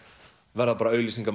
verða